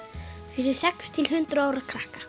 fyrir sex til hundrað ára krakka